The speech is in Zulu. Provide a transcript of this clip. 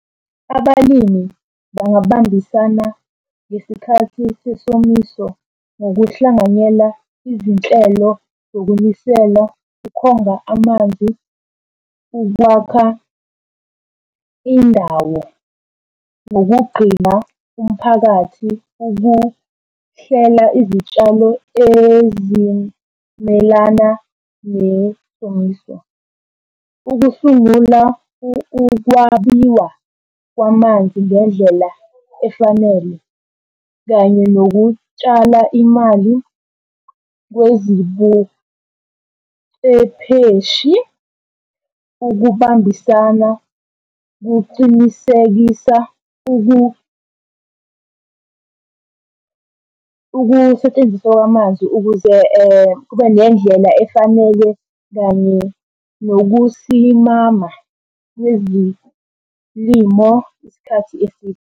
Abalimi bangabambisana ngesikhathi sesomiso ngokuhlanganyela izinhlelo zokunisela ukhonga amanzi, ukwakha indawo ngokugqina umphakathi, ukuhlela izitshalo ezimelana nesomiso. Ukusungula ukwabiwa kwamanzi ngendlela efanele kanye nokutshala imali kwezibucepheshi. Ukubambisana kuqinisekisa ukusetshenziswa kwamanzi ukuze kube nendlela efaneke kanye nokusimama kwezilimo isikhathi eside.